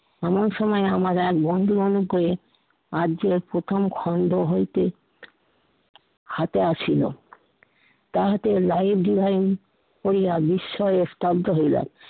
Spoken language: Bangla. এমন সময় আমার এক বন্ধু মনে করে আর যে এক প্রথম খন্ড হইতে হাতে আসিলো। তাহাতে life design করিয়া বিস্ময় স্তব্ধ হইলো।